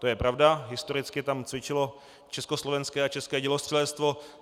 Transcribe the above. To je pravda, historicky tam cvičilo československé a české dělostřelectvo.